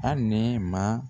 Hali Nɛɛma